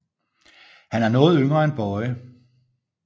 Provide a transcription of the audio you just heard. Han er noget yngre end Bøje